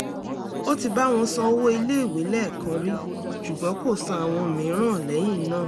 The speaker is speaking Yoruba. ó ti bá wọn san owó iléèwé lẹ́ẹ̀kan rí ṣùgbọ́n kò san àwọn mìíràn lẹ́yìn náà